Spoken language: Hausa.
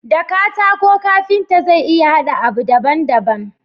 Da katako kanfita zai iya hada abu daban daban